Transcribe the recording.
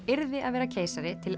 yrði að vera keisari til